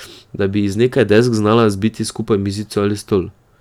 Da bi iz nekaj desk znala zbiti skupaj mizico ali stol.